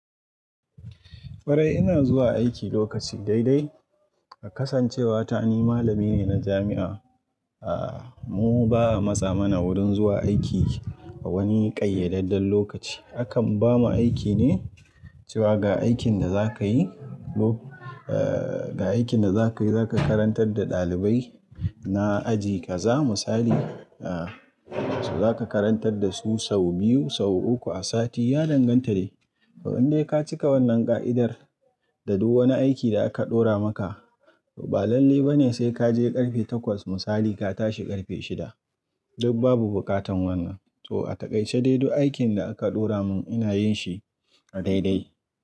Kwarai ina zuwa aiki lokaci dai dai. A kasancewa ta ni malami ne na jami'a, ah mu ba'a matsa mana wurin zuwa aiki a wani ƙayyadadden lokaci. Akan bamu aiki ne cewa ga aikin da za ka yi, ga aikin da za ka yi za ka karantar da ɗalibai na aji ka zamu misali, ah za ka karantar da su sau biyu, sau uku a sati. Ya danganta de. Ga idan kai ka cika wannan ƙa'idar da duk wani aiki da aka ɗora maka, ba lalle ba ne sai ka je ƙarfe takwas mu Sali ka tashi ƙarfe shida. Duk babu buƙatan wannan. To a taƙaice dai duk aikin da aka ɗora mun ina yin shi a dai dai.